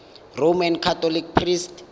roman catholic priest